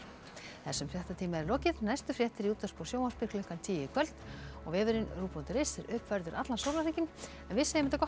þessum fréttatíma er lokið næstu fréttir í útvarpi og sjónvarpi klukkan tíu í kvöld og vefurinn ruv punktur is er uppfærður allan sólarhringinn en við segjum þetta gott